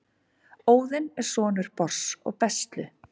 óðinn er sonur bors og bestlu